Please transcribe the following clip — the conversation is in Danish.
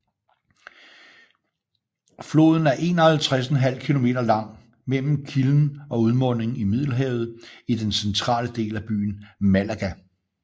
Floden er 51½ kilometer lang mellem kilden og udmunding i Middelhavet i den centrale del af byen Málaga